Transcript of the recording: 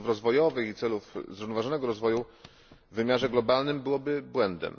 celów rozwojowych i celów zrównoważonego rozwoju, w wymiarze globalnym byłoby błędem.